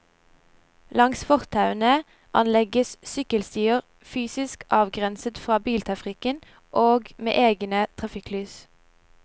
Langs fortauene anlegges sykkelstier, fysisk avgrenset fra biltrafikken, og med egne trafikklys.